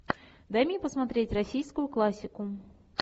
дай мне посмотреть российскую классику